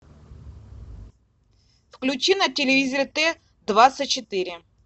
включи на телевизоре т двадцать четыре